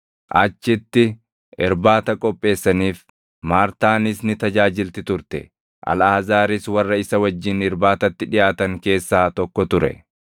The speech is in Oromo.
Achitti irbaata qopheessaniif. Maartaanis ni tajaajilti turte; Alʼaazaaris warra isa wajjin irbaatatti dhiʼaatan keessaa tokko ture.